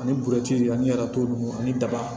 Ani ani ninnu ani daba